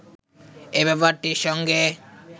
এ ব্যাপারটির সঙ্গে